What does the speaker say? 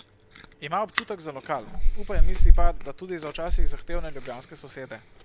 Ima občutek za lokal, upa in misli pa, da tudi za včasih zahtevne ljubljanske sosede.